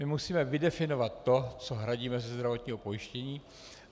My musíme vydefinovat to, co hradíme ze zdravotního pojištění.